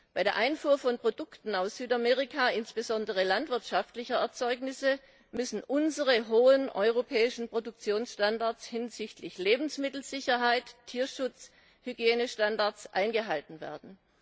Bei der Einfuhr von Produkten aus Südamerika, insbesondere landwirtschaftlicher Erzeugnisse, müssen unsere hohen europäischen Produktionsstandards hinsichtlich Lebensmittelsicherheit, Tierschutz und Hygienestandards eingehalten werden.